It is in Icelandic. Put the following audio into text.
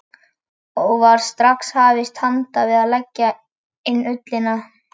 Það var strax hafist handa við að leggja inn ullina.